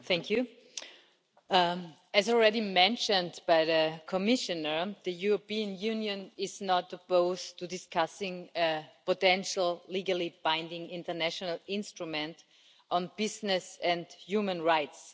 Mr President, as already mentioned by the Commissioner, the European Union is not opposed to discussing a potentially legally binding international instrument on business and human rights.